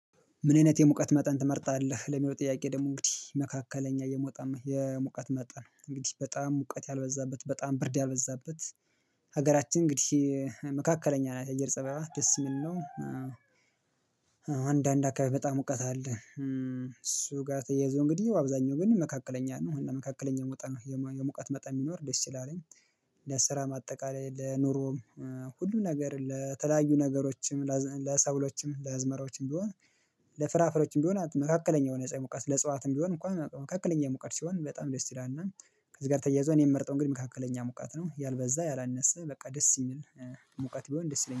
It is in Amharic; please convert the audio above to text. ምን አይነት የሙቀት መጠን ትመርጣለህ? ለሚለው ጥያቄ ደግሞ እንግዲህ መካከለኛ የመውጣማ የሙቀት መጠን ነው እንግዲህ በጣም ሙቀት ያልበዛበት በጣም ብርድ ያልበዛበት ሀገራችን እንግዲህ መካከለኛ አየር ፀባይ ደስ የሚል ነው። አንዳንድ አካባቢ በጣም ሙቀት አለ እሱ ጋር ተያይዞ እንግዲህ አብዛኛው ግን መካከለኛ ነው መካከለኛ የምወጣ ነው የመቃት መጣ የሚኖር ደስ ይላል። እኔ ለስራ ማጠቃለል ለኑሮ ሁሉም ነገር ለተለያዩ ነገሮችም ለሰብሎችም ለአዝመራዎችም ቢሆን ለፍራፍሬዎችም ቢሆን መካከለኛ የሆነ የፀሀይ ሙቀት ለጽዋትም ቢሆን እንኳን መካከለኛ ሙቀት ሲሆን በጣም ደስ ይላል። እና ከዚህ ጋር ተያይዞ እኔ የምመርጠው እንግዲህ መካከለኛ ሙቃት ነው ያልበዛ ያላነሰ በቃ ደስ የሚል ሙቃት ቢሆን ደስ ይለኛል